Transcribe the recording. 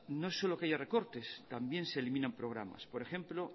no solo que haya recortes también se eliminan programas por ejemplo